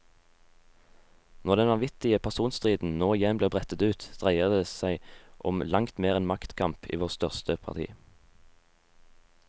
Når den vanvittige personstriden nå igjen blir brettet ut, dreier det som om langt mer enn maktkamp i vårt største parti.